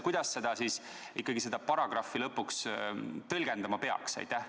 Kuidas seda paragrahvi siis ikkagi lõpuks tõlgendama peaks?